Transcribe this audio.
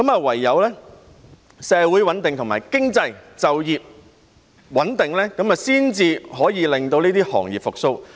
唯有社會、經濟及就業穩定，才可以令這些行業復蘇。